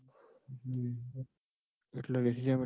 એટલે રેસિઝમ